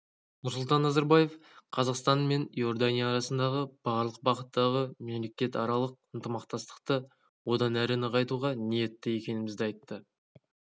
нұрсұлтан назарбаев қазақстан мен иордания арасындағы барлық бағыттағы мемлекетаралық ынтымақтастықты одан әрі нығайтуға ниетті екенімізді айтты